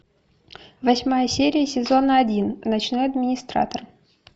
восьмая серия сезона один ночной администратор